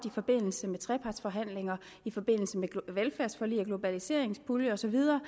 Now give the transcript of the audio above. i forbindelse med trepartsforhandlinger i forbindelse med velfærdsforlig og globaliseringspulje og så videre